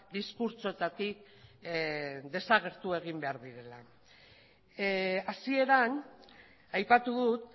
diskurtsoetatik desagertu egin behar direla hasieran aipatu dut